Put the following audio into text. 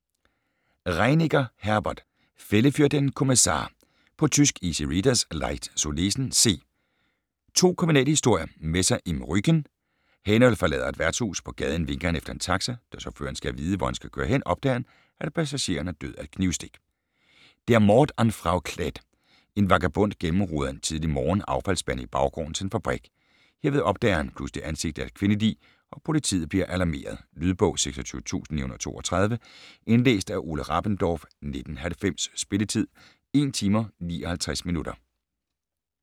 Reinecker, Herbert: Fälle für den Kommissar På tysk. Easy readers; Leicht zu lesen. C. 2 kriminalhistorier. Messer im Rücken: Heynold forlader et værtshus. På gaden vinker han efter en taxa. Da chaufføren skal have at vide, hvor han skal køre hen, opdager han, at passageren er død af et knivstik. Der Mord an Frau Klett: En vagabond gennemroder en tidlig morgen affaldsspande i baggården til en fabrik. Herved opdager han pludselig ansigtet af et kvindelig, og politiet bliver alarmeret. Lydbog 26932 Indlæst af Ole Rabendorf, 1990. Spilletid: 1 timer, 59 minutter.